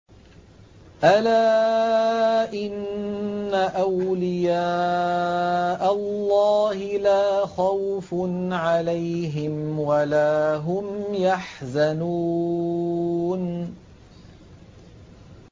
أَلَا إِنَّ أَوْلِيَاءَ اللَّهِ لَا خَوْفٌ عَلَيْهِمْ وَلَا هُمْ يَحْزَنُونَ